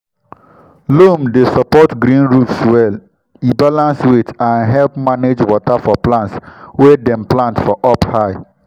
loam dey support green roofs well e balance weight and help manage water for plants wey dem plant for up high.